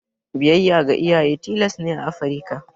Biyayya ga iyaye tilas ne a Afrika.